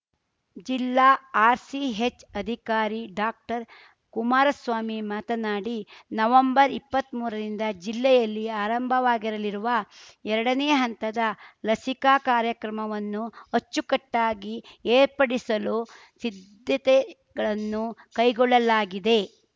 ಜಿಲ್ಲಾ ಆರ್‌ಸಿಹೆಚ್‌ ಅಧಿಕಾರಿ ಡಾಕ್ಟರ್ಕುಮಾರಸ್ವಾಮಿ ಮಾತನಾಡಿ ನವಂಬರ್ಇಪ್ಪತ್ಮೂರ ರಿಂದ ಜಿಲ್ಲೆಯಲ್ಲಿ ಆರಂಭವಾಗಿರಲಿರುವ ಎರಡನೇ ಹಂತದ ಲಸಿಕಾ ಕಾರ್ಯಕ್ರಮವನ್ನು ಅಚ್ಚುಕಟ್ಟಾಗಿ ಏರ್ಪಡಿಸಲು ಸಿದ್ಧತೆಗಳನ್ನು ಕೈಗೊಳ್ಳಲಾಗಿದೆ